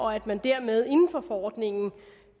og at man dermed inden for forordningen